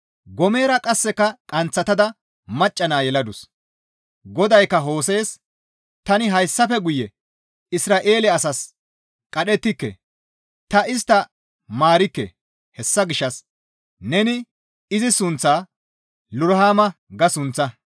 Goomera qasseka qanththatada macca naa yeladus. GODAYKKA Hose7es, «Tani hayssafe guye Isra7eele asaas qadhettike; ta istta maarikke; hessa gishshas neni izi sunththaa, ‹Loruhama› ga sunththaa.